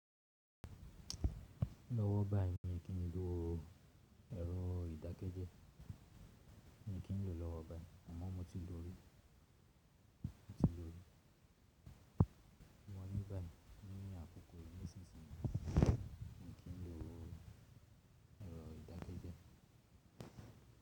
Lọ́wọ́ báyìí ní kí n lo èrò ìdákẹ́jẹ́, ní kí n lo lọ́wọ́ báyìí àmọ́ mo ti lo rí, mo ti lo rí. Lọ́wọ́ báyìí ní àkókò yìí nísìnyí ní kí n lo èrò ìdákẹ́jẹ́.